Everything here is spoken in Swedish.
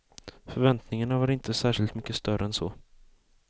Förväntningarna var inte särskilt mycket större än så.